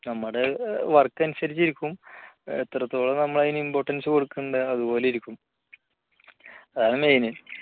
നമ്മുടെ work അനുസരിച്ച് ഇരിക്കും എത്രത്തോളം നമ്മൾ അതിനു importance കൊടുക്കുന്നുണ്ട് അതുപോലെ ഇരിക്കും. അതാണ് main